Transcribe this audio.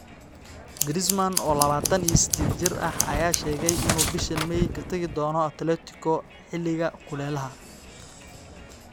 Griezmann, oo labataan iyo sideed jir ah, ayaa sheegay inuu bishaan May inuu ka tagi doono Atletico xilliga kulelaha.